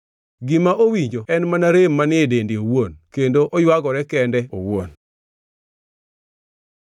Gima owinjo en mana rem manie dende owuon kendo oywagore kende owuon.”